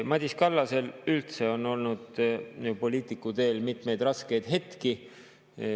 Madis Kallasel on üldse olnud poliitikuteel mitmeid raskeid hetki.